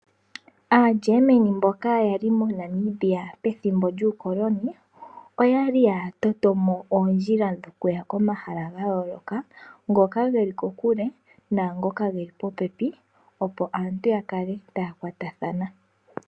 AaGermany mboka ya li moNamibia pethimbo lyuukoloni oya li ya toto mo oondjila dhokuya komahala ga yooloka ngoka ge li kokule naangoka ge li popepi, opo aantu ya kale taya kwatathana.